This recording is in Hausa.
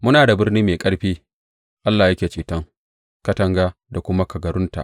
Muna da birni mai ƙarfi; Allah yake ceton katanga da kuma kagarunta.